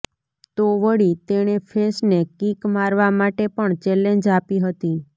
તો વળી તેણે ફેંસને કિક મારવા માટે પણ ચેલેન્જ આપી હતી